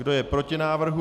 Kdo je proti návrhu?